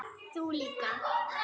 Þú líka.